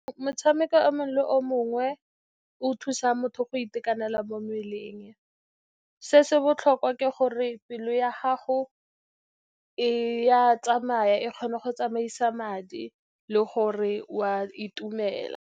Motshameko o mongwe le o mongwe o thusa motho go itekanela mo mmeleng. Se se botlhokwa ke gore pelo ya gago e a tsamaya, e kgona go tsamaisa madi, le gore wa itumela.